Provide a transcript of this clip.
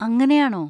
അങ്ങനെയാണോ?